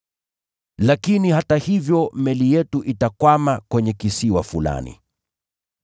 Lakini hata hivyo meli yetu itakwama kwenye kisiwa fulani.”